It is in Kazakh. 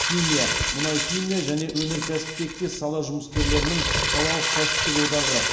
химия мұнайхимия және өнеркәсіп тектес сала жұмыскерлерінің салалық кәсіптік одағы